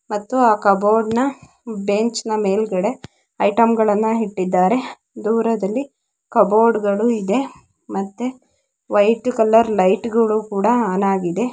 ಮತ್ತು ಆ ಕಬೋರ್ಡ್‌ನ ಬೆಂಚಿನ ಮೇಲೆ ಬಹಳಷ್ಟು ಐಟಂ ಗಡಂನ ಇತ್ತೆದ ದೂರದಲ್ಲಿ ಕ್ಯೂಬ್‌ಬೋರ್ಡ್‌ಗಳಿವೆ ಇದೆ ಮತ್ತು ವೈಟ್ ಕಲರ್ ಲೈಟ್ ಕೂಡ ಒನ್ ಅಗೆದ್ --